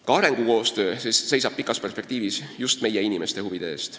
Ka arengukoostöö seisab kauges perspektiivis just meie inimeste huvide eest.